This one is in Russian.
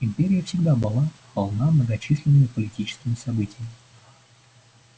империя всегда была полна многочисленными политическими событиями